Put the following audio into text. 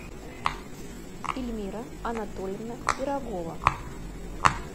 эльмира анатольевна пирогова